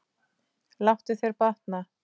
Láttu þér batna.